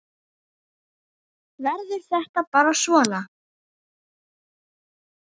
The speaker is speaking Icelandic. Verður þetta bara svona?